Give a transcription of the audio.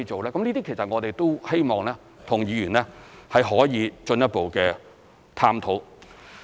這些其實我們都希望和議員可以進一步探討。